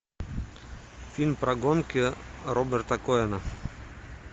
фильм про гонки роберта коэна